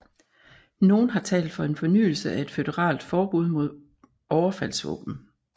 Nogle har talt for en fornyelse af et føderalt forbud mod overfaldsvåben